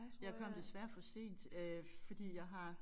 Jeg kom desværre for sent fordi jeg har